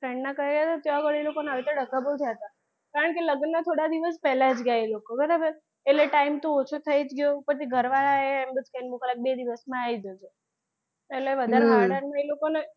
friend ના કર્યા હતા ત્યા ઘડી એ લોકોને આ રીતે ડખા બહુ થયા હતા. કારણ કે લગન ના થોડા દિવસ પહેલા ગયા એ લોકો બરાબર એટલે time તો ઓછો થઈ જ ગયો ઉપરથી ઘરવાળા એ એવું કે કે બે દિવસ માં આવી જજો એટલે